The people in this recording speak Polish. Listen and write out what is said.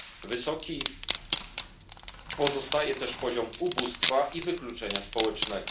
Wysoki pozostaje też poziom ubóstwa i wykluczenia społecznego.